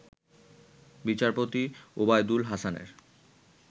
বিচারপতি ওবায়দুল হাসানের